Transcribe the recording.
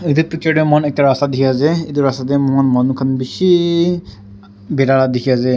Etu picture tey amikhan ekta rasta dekhe ase etu rasta tey manu khan beshe ah bagera dekhe ase.